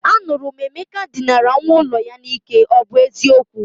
Anuru m Emeka dinara nwa ulo ya n'ike, o bu eziokwu?